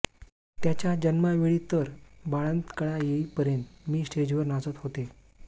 त्याच्या जन्मावेळी तर बाळंत कळा येईपर्यंत मी स्टेजवर नाचत होते